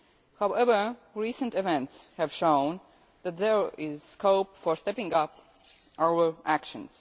However, recent events have shown that there is scope for stepping up our actions.